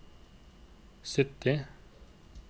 sytti